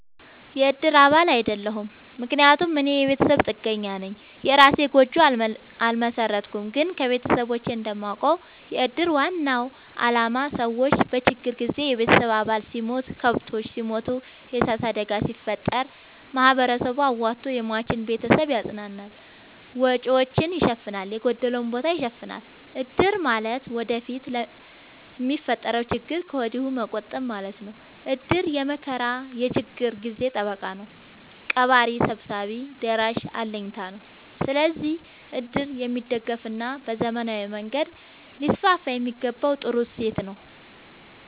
የእድር አባል አይደለሁም። ምክንያቱም እኔ የቤተሰብ ጥገኛነኝ የእራሴን ጎጆ አልመሠረትኩም። ግን ከቤተሰቦቼ እንደማውቀው። የእድር ዋናው አላማ ሰዎች በችግር ጊዜ የቤተሰብ አባል ሲሞት፤ ከብቶች ሲሞቱ፤ የዕሳት አደጋ ሲፈጠር፤ ማህበረሰቡ አዋቶ የሟችን ቤተሰብ ያፅናናል፤ ወጪወቹን ይሸፋናል፤ የጎደለውን ቦታ ይሸፋናል። እድር ማለት ወደፊት ለሚፈጠረው ችግር ከወዲሁ መቆጠብ ማለት ነው። እድር የመከራ የችግር ጊዜ ጠበቃ ነው። ቀባሪ ሰብሳቢ ደራሽ አለኝታ ነው። ስለዚህ እድር የሚደገፋና በዘመናዊ መንገድ ሊስስፋየሚገባው ጥሩ እሴት ነው።